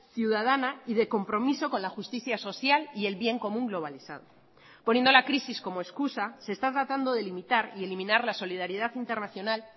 ciudadana y de compromiso con la justicia social y el bien común globalizado poniendo la crisis como excusa se está tratando de limitar y eliminar la solidaridad internacional